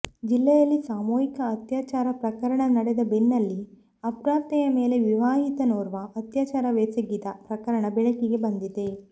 ಜಿಲ್ಲೆಯಲ್ಲಿ ಸಾಮೂಹಿಕ ಅತ್ಯಾಚಾರ ಪ್ರಕರಣ ನಡೆದ ಬೆನ್ನಲ್ಲೇ ಅಪ್ರಾಪ್ತೆಯ ಮೇಲೆ ವಿವಾಹಿತನೋರ್ವ ಅತ್ಯಾಚಾರವೆಸಗಿದ ಪ್ರಕರಣ ಬೆಳಕಿಗೆ ಬಂದಿದೆ